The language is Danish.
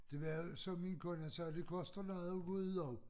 Det var jo som min kone sagde det koster noget at gå ud også